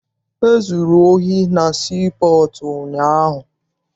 E zuru ohi na sii pọọtụ ụnyaahụ.